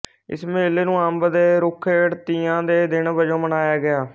ਇਸ ਮੇਲੇ ਨੂੰ ਅੰਬ ਦੇ ਰੁੱਖ ਹੇਠ ਤੀਆਂ ਦੇ ਦਿਨ ਵਜੋਂ ਮਨਾਇਆ ਗਿਆ